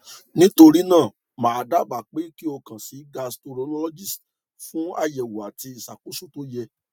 nitorina ma daba pe ki o kan si cs] gastroenterologist fun ayewo ati isakoso to ye